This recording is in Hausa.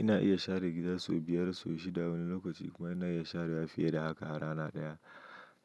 Ina iya share gida sau biyar, sau shida wani lokaci kuma ina iya sharewa fiye da haka a rana ɗaya.